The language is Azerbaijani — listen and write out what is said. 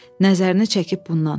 Nəzərini çəkib bundan.